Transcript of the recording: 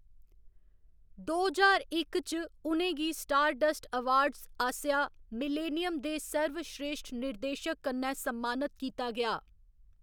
दो ज्हार इक च, उ'नें गी स्टारडस्ट अवार्ड्स आस्सेआं मिलेनियम दे सर्वश्रेश्ठ निर्देशक कन्नै सम्मानत कीता गेआ।